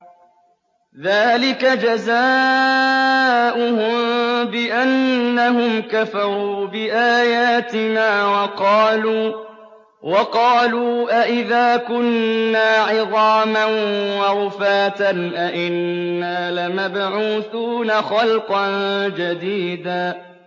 ذَٰلِكَ جَزَاؤُهُم بِأَنَّهُمْ كَفَرُوا بِآيَاتِنَا وَقَالُوا أَإِذَا كُنَّا عِظَامًا وَرُفَاتًا أَإِنَّا لَمَبْعُوثُونَ خَلْقًا جَدِيدًا